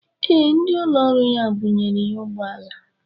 Ee, ndị ụlọ ọrụ ya bunyere ya ụgbọala.